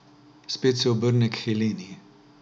Spet se obrne k Heleni.